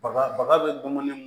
Baga baga bɛ dumuni